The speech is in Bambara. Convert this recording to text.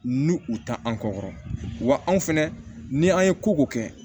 N'u u ta an kɔ kɔrɔ wa anw fɛnɛ ni an ye koko kɛ